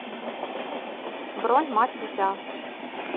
бронь мать и дитя